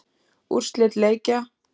Úrslit leikja